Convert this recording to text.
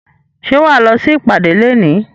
Ṣé wà á lọ sí ìpàdé léèní?